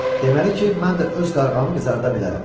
Deməli ki, mən də öz qarğamı qızarda bilərəm.